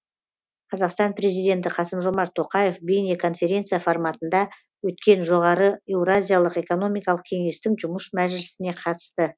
қазақстан президенті қасым жомарт тоқаев бейнеконференция форматында өткен жоғары еуразиялық экономикалық кеңестің жұмыс мәжілісіне қатысты